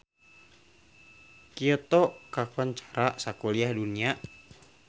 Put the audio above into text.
Kyoto kakoncara sakuliah dunya